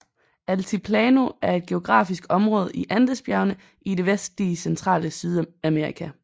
Altiplano er et geografisk område i Andesbjergene i det vestlige centrale Sydamerika